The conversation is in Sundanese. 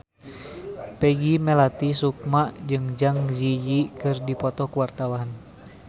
Peggy Melati Sukma jeung Zang Zi Yi keur dipoto ku wartawan